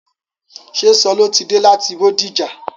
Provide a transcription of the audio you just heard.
Ṣé Sọló ti dé láti Bódìjà?